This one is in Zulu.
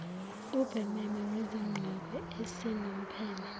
ubhememe wesigqoko esinompheme